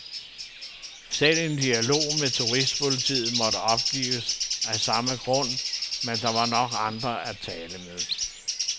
Selv en dialog med turistpolitiet måtte opgives af samme grund, men der var nok andre at tale med.